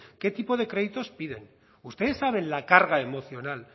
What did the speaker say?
qué tipo de créditos piden ustedes saben la carga emocional